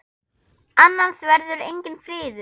Annars verður enginn friður.